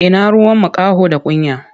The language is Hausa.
Ina ruwan makaho da kunya?